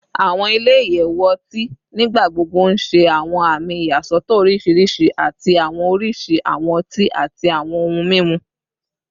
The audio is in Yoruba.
Awọn ile-iyẹwu ọti nigbagbogbo n ṣe awọn ami iyasọtọ oriṣiriṣi ati awọn oriṣi awọn ọti ati awọn ohun mimu